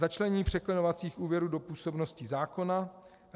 Začlenění překlenovacích úvěrů do působnosti zákona.